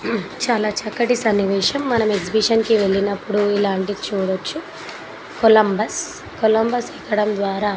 చాలా చక్కటి సన్నివేశం. మనం ఎగ్జిబిషన్ కి వెళ్ళినప్పుడు ఇలాంటివి చూడొచ్చు కొలంబస్ . కొలంబస్ ఎక్కడం ద్వారా --